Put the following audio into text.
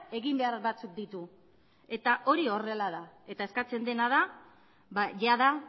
egin behar batzuk ditu eta hori horrela da eta eskatzen dena da jada